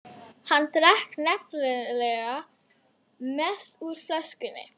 Hann drakk nefnilega mest úr flöskunni.